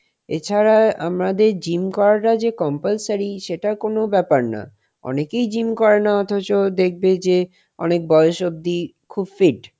এছাড়া আমাদের gym করাটা যে compulsory সেটা কোন ব্যাপার না অনেকেই gym করে না অথচ দেখবে যে অনেক বয়স অবধি খুব fit,